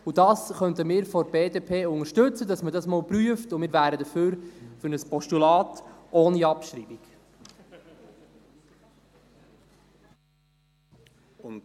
Wir von der BDP könnten es unterstützen, dass man dies einmal prüft, und wir wären für ein Postulat ohne Abschreibung.